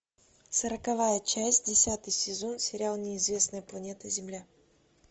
сороковая часть десятый сезон сериал неизвестная планета земля